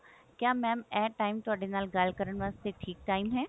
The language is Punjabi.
ਕਿਆ mam ਇਹ time ਥੋਡੇ ਨਾਲ ਗੱਲ ਕਰਨ ਵਾਸਤੇ ਠੀਕ time ਹੈ